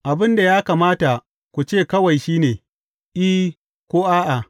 Abin da ya kamata ku ce kawai, shi ne, I, ko A’a.